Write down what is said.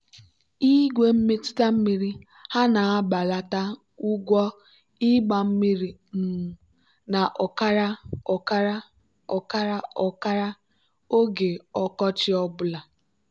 igwe mmetụta mmiri ha na-ebelata ụgwọ ịgba mmiri um na ọkara ọkara ọkara ọkara oge ọkọchị ọ bụla.